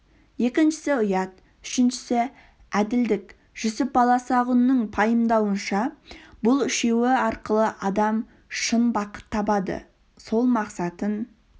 екіншісі ұят үшіншісі әділдік жүсіп баласағұнның пайымдауынша бұл үшеуі арқылы адам шын бақыт табады сол мақсатын